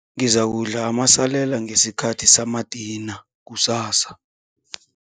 Ngizakudla amasalela ngesikhathi samadina kusasa.